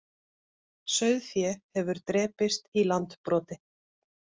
Sauðfé hefur drepist í Landbroti